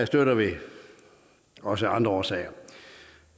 støtter vi også af andre årsager